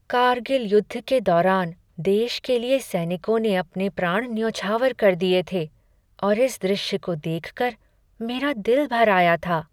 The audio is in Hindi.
कारगिल युद्ध के दौरान देश के लिए सैनिकों ने अपने प्राण न्यौछावर कर दिये थे और इस दृश्य को देख कर मेरा दिल भर आया था।